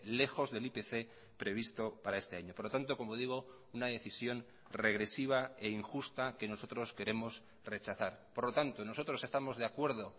lejos del ipc previsto para este año por lo tanto como digo una decisión regresiva e injusta que nosotros queremos rechazar por lo tanto nosotros estamos de acuerdo